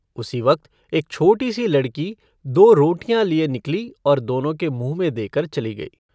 उसी वक्त एक छोटी-सी लड़की दो रोटियाँ लिये निकली और दोनों के मुँह में देकर चली गई।